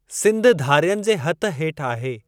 सिंध धारियनि जे हथ हेठि आहे।